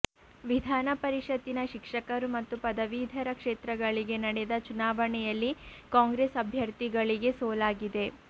ವಿಧಾನಪರಿಷತ್ತಿನ ಶಿಕ್ಷಕರು ಮತ್ತು ಪದವೀಧರ ಕ್ಷೇತ್ರಗಳಿಗೆ ನಡೆದ ಚುನಾವಣೆಯಲ್ಲಿ ಕಾಂಗ್ರೆಸ್ ಅಭ್ಯರ್ಥಿಗಳಿಗೆ ಸೋಲಾಗಿದೆ